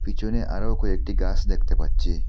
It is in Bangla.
পিছনে আরো কয়েকটি গাস দেখতে পাচ্ছি।